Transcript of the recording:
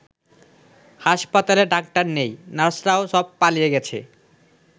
হাসপাতালে ডাক্তার নেই, নার্সরাও সব পালিয়ে গেছে।